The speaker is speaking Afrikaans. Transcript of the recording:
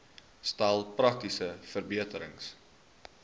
stel praktiese verbeterings